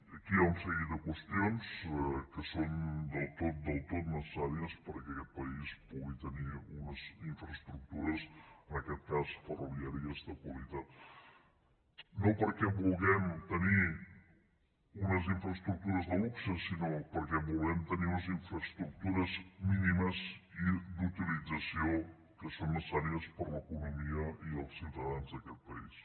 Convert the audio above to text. aquí hi ha un seguit de qüestions que són del tot del tot necessàries perquè aquest país pugui tenir unes infraestructures en aquest cas ferroviàries de qualitat no perquè vulguem tenir unes infraestructures de luxe sinó perquè volem tenir unes infraestructures mínimes i d’utilització que són necessàries per a l’economia i els ciutadans d’aquest país